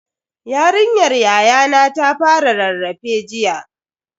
Yarinyar yayana ta fara rarrafe jiya.